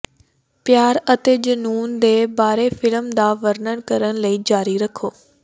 ਪਿਆਰ ਅਤੇ ਜਨੂੰਨ ਦੇ ਬਾਰੇ ਫਿਲਮ ਦਾ ਵਰਣਨ ਕਰਨ ਲਈ ਜਾਰੀ ਰੱਖੋ